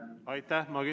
Aitäh!